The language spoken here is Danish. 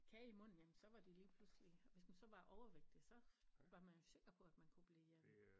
Kage i munden jamen så var de lige pludselig hvis man så var overvægtig så var man jo sikker på at man kunne blive øh